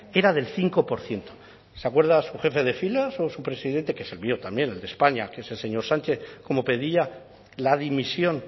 era del cinco por ciento se acuerda su jefe de filas o su presidente que es el mío también el de españa que es el señor sánchez cómo pedía la dimisión